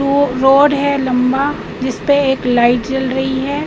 Road है लंबा जिसपे एक लाइट जल रही हैं।